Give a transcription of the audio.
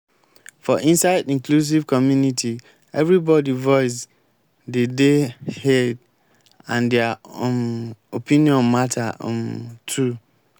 for inside inclusive community everybody voice de dey heaeed and their um opinion matter um too